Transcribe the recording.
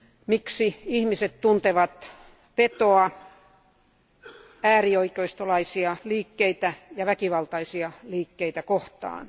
Miksi ihmiset tuntevat vetoa äärioikeistolaisia liikkeitä ja väkivaltaisia liikkeitä kohtaan?